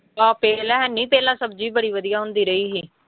ਆਹ ਪਹਿਲਾਂ ਹੈਨੀ ਪਹਿਲਾਂ ਸਬਜ਼ੀ ਬੜੀ ਵਧੀਆ ਹੁੰਦੀ ਰਹੀ ਸੀ।